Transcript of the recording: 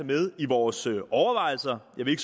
med i vores overvejelser jeg vil